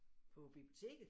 På biblioteket?